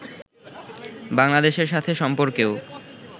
বাংলাদেশের সাথে সম্পর্কেও